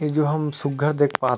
ए जो हम सुघ्घर देख पात --